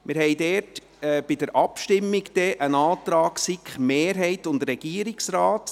– Wir haben dann hier in der Abstimmung einen Antrag von SiK-Mehrheit und Regierungsrat.